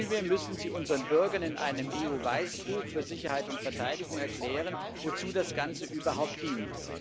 Vielmehr müssen sie unseren Bürgern in einem EU Weißbuch für Sicherheit und Verteidigung erklären, wozu das Ganze überhaupt dient.